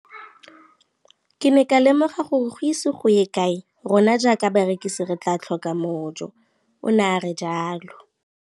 Ke ne ka lemoga gore go ise go ye kae rona jaaka barekise re tla tlhoka mojo, o ne a re jalo.